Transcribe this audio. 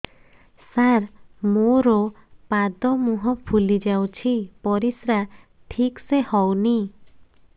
ସାର ମୋରୋ ପାଦ ମୁହଁ ଫୁଲିଯାଉଛି ପରିଶ୍ରା ଠିକ ସେ ହଉନି